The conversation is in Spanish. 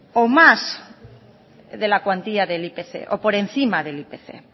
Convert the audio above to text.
o más de la cuantía del ipc o por encima del ipc